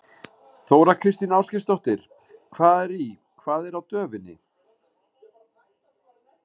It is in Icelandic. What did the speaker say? Þóra Kristín Ásgeirsdóttir: Hvað er í, hvað er á döfinni?